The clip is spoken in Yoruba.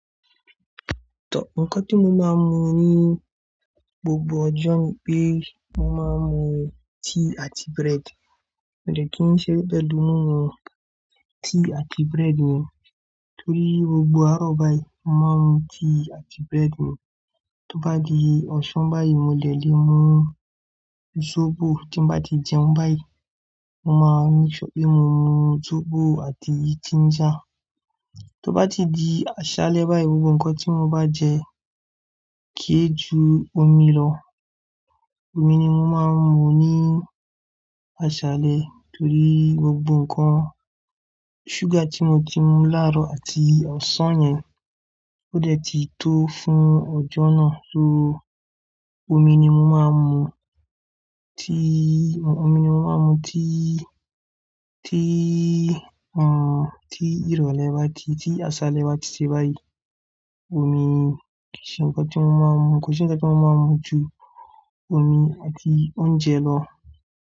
To ǹkan tí mo máa ń mu ní gbogbo ọjọ́ ni pé mo máa ń mu tea àti bread. Mi o de kin sere pelu mí mu tíì àti bread mi torí gbogbo àárọ̀ báyìí mo máa ń mu tea àti bread mi. Tó bá di ọ̀sán báyìí mo de lè mu sóbò. Tí n bá ti jẹun báyìí mo máa n sure pé mo mu sóbò àti ginger. Tí ó bá ti di àṣálẹ́ báyìí, gbogbo nǹkan tí mo bá jẹ kì í ju omi lọ. Omi ni mo máa ń mu ní àṣálẹ́ torí gbogbo nǹkan-- sugar tí mo ti mu láàárọ̀ àti ọ̀sán yẹn ó dẹ̀ ti tó fún ọjọ́ náà só omi ni mo máa ń mu. Tíì, omi ni mo máa mu. Tíì, tíì, hm, tíì ìrọ̀lẹ́ bá ti, tí àsálẹ́ bá ti ṣe báyìí, omi ni kò sí nǹkan tí mo máa ń mu. Kò sí nǹkan tí mo máa ń mu ju omi àti oúnjẹ lọ.